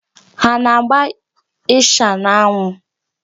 Ha ana-agba ịsha n'anwụ?